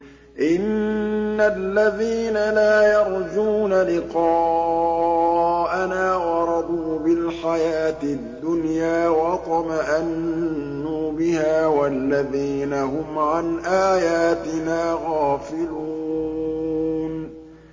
إِنَّ الَّذِينَ لَا يَرْجُونَ لِقَاءَنَا وَرَضُوا بِالْحَيَاةِ الدُّنْيَا وَاطْمَأَنُّوا بِهَا وَالَّذِينَ هُمْ عَنْ آيَاتِنَا غَافِلُونَ